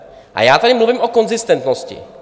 A já tady mluvím o konzistentnosti.